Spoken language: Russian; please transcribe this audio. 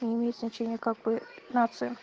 не имеет значение как-бы в нациях